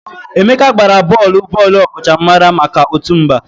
Emeka gbara bọọlụ bọọlụ ọkachamara maka otu mba.